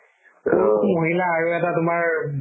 পুৰুষ, মহিলা আৰু এটা তুমাৰ